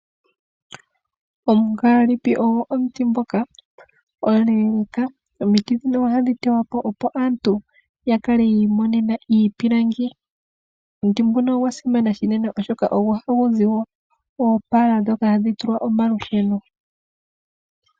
Omungaalipi ongo omuti ngoka omuleleka, omiti ndhino ohadhi tewapo opo aantu yakale yiimonena iipilangi. Omuti nguka ogwasimana oshoka oko hakuzi oopala dhomalusheno.